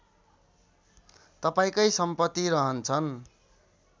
तपाईँकै सम्पति रहन्छन्